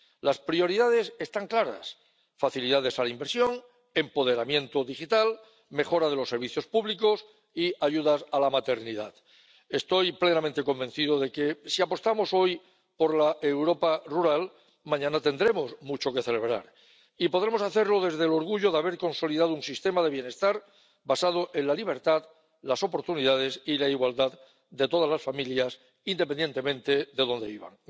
Las prioridades están claras facilidades a la inversión, empoderamiento digital, mejora de los servicios públicos y ayudas a la maternidad. Estoy plenamente convencido de que, si apostamos hoy por la Europa rural, mañana tendremos mucho que celebrar y podremos hacerlo desde el orgullo de haber consolidado un sistema de bienestar basado en la libertad, las oportunidades y la igualdad de todas las familias, independientemente de dónde vivan.